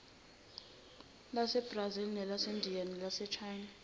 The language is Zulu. lasebrazil elasendiya nelasechina